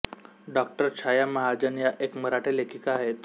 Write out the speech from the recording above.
डॉ छाया महाजन या एक मराठी लेखिका आहेत